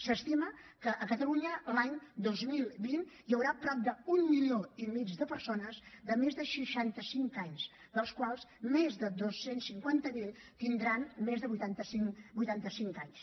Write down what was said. s’estima que a catalunya l’any dos mil vint hi haurà prop d’un milió i mig de persones de més de seixanta cinc anys dels quals més de dos cents i cinquanta miler tindran més de vuitanta cinc anys